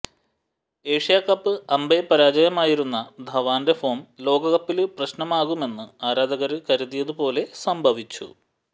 ഏഷ്യാകപ്പില് അമ്പേപരാജയമായിരുന്ന ധവാന്റെ ഫോം ലോകകപ്പില് പ്രശ്നമാകുമെന്ന് ആരാധകര് കരുതിയതു പോലെ സംഭവിച്ചു